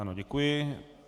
Ano, děkuji.